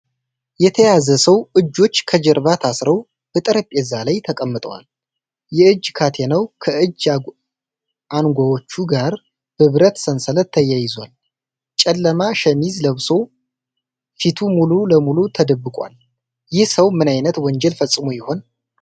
የተያዘ ሰው እጆች ከጀርባ ታስረው በጠረጴዛ ላይ ተቀምጠዋል። የእጅ ካቴናው ከእጅ አንጓዎቹ ጋር በብረት ሰንሰለት ተያይዟል። ጨለማ ሸሚዝ ለብሶ ፊቱ ሙሉ ለሙሉ ተደብቋል፤ ይህ ሰው ምን ዓይነት ወንጀል ፈጽሞ ይሆን?